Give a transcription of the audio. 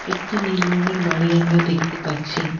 একটি নীল রঙের বাড়ি আমরা দেখতে পাচ্ছি।